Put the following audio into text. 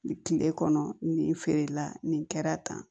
Kile kɔnɔ nin feerela nin kɛra tan